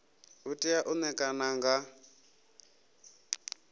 u tea u ṋekana nga